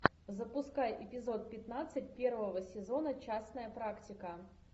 запускай эпизод пятнадцать первого сезона частная практика